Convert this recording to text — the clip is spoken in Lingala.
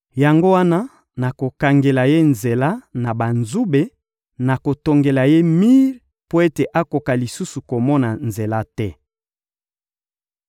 Yango wana, nakokangela ye nzela na banzube, nakotongela ye mir mpo ete akoka lisusu komona nzela te.